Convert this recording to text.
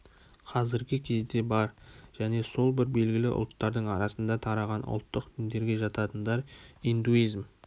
қазіргі кезде бар және сол бір белгілі ұлттардың арасында тараған ұлттық діндерге жататындар индуизм